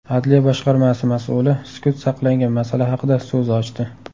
Adliya boshqarmasi mas’uli sukut saqlangan masala haqida so‘z ochdi.